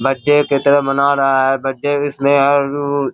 birthday के तरह मना रहा है बर्थडे इसमें और उ उ --